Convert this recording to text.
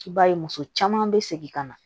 I b'a ye muso caman bɛ segin ka na